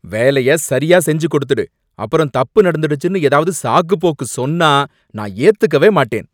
வேலைய சரியா செஞ்சு கொடுத்துடு, அப்புறம் தப்பு நடந்துடுச்சுன்னு ஏதாவது சாக்குபோக்கு சொன்னா நான் ஏத்துக்கவே மாட்டேன்.